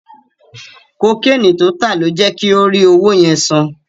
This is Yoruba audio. Kokéènì tó tà ló jẹ kí ó rí owó yẹn san.